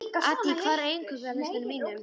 Addý, hvað er á innkaupalistanum mínum?